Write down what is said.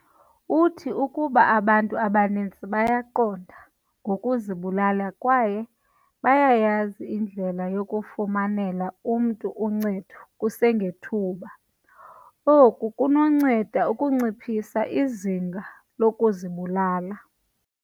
"Uthi, "Ukuba abantu abaninzi bayaqonda ngokuzibulala kwaye bayayazi indlela yokufumanela umntu uncedo kusengethuba, oku kunonceda ukunciphisa izinga lokuzibulala,"